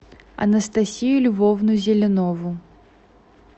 анастасию львовну зеленову